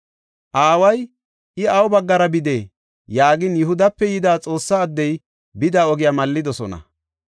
Aaway, “I awu baggara bidee?” yaagin, Yihudape yida Xoossa addey bida ogiya mallidosona.